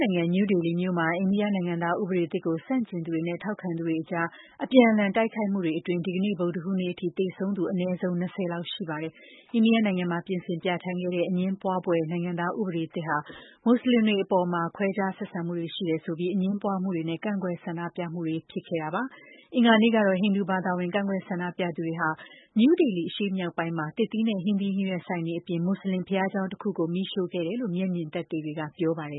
နိုင်ငံံ New Delhi မြို့ မှာ အိန္ဒိယနိုင်ငံသားဥပဒေသစ်ကို ဆန့်ကျင်သူတွေနဲ့ ထောက်ခံသူတွေကြား အပြန်အလှန် တိုက်ခိုက်မှုတွေအတွင်း ဒီကနေ့ ဗုဒ္ဓဟူးနေ့အထိ သေဆုံးသူ အနည်းဆုံး ၂၀ လောက် ရှိပါတယ်။ အိန္ဒိယနိုင်ငံံမှာ ပြင်ဆင်ပြဌာန်းခဲ့တဲ့ အငြင်းပွားဖွယ် နိုင်ငံသားဥပဒေသစ်ဟာ မွတ်ဆလင်တွေအပေါ် ခွဲခြားဆက်ဆံမှုတွေ ရှိနေတယ် ဆိုပြီး အငြင်းပွားမှုတွေနဲ့ ကန့်ကွက်ဆန္ဒပြပွဲတွေ ဖြစ်နေခဲ့တာပါ။ အင်္ဂါနေ့ကတော့ ဟိန္ဒူဘာသာဝင် ကန့်ကွက် ဆန္ဒပြသူတွေက New Delhi အရှေ့မြောက်ပိုင်းမှာ သစ်သီးနဲ့ ဟင်းသီးဟင်းရွက်ဆိုင်တွေအပြင် မူဆလင်ဘုရားကျောင်း တခုကိုလည်း မီးရှို့ခဲ့တယ်လို့ မျက်မြင်သက်သေ တဦးက ပြောပါတယ